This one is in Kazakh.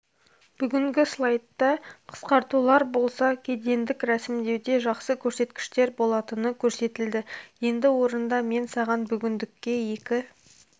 бүгінгі слайдта қысқартулар болса кедендік рәсімдеуде жақсы көрсеткіштер болатыны көрсетілді енді орында мен саған бүгіндікке екі